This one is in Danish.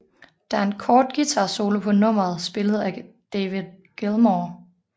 Der er en kort guitarsolo på nummeret spillet af David Gilmour